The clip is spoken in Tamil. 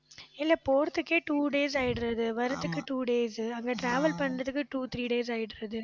இல்லை, போறதுக்கே two days ஆயிடுறது வர்றதுக்கு two days அங்க travel பண்றதுக்கு two three days ஆயிடுது